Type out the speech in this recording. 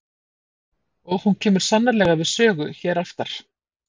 Og hún kemur sannarlega við sögu hér aftar.